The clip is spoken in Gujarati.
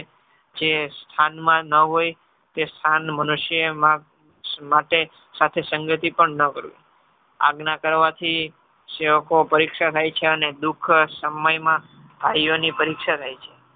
જે સ્થનમાં ન હોય તે સ્થાન મનુષ્યમાં માટે સંગથી પણ ન કરવું. આજ્ઞાના કરવાથી સેવકો પરીક્ષા થાય છે અને દુઃખ સમયમાં ભાઈઓની પરીક્ષા થાય છે.